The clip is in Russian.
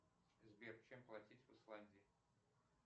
сбер чем платить в исландии